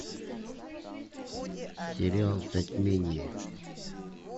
сериал затмение